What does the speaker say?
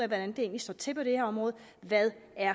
det egentlig står til på det her område hvad